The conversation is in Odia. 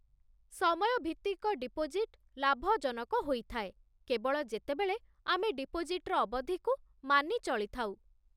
ସମୟଭିତ୍ତିକ ଡିପୋଜିଟ୍ ଲାଭଜନକ ହୋଇଥାଏ, କେବଳ ଯେତେବେଳେ ଆମେ ଡିପୋଜିଟ୍ର ଅବଧିକୁ ମାନି ଚଳିଥାଉ